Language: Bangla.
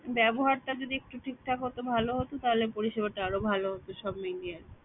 ব্যবহারটা যদি একটু ঠিকঠাক হতো ভালো হতো তাহলে পরিষেবাটা আরো ভালো হতো সব মিলিয়ে